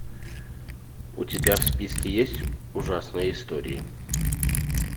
у тебя в списке есть ужасные истории